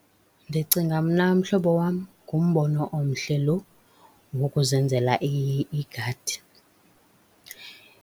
Ndicinga mna, mhlobo wam, ngumbono omhle loo wokuzenzela igadi.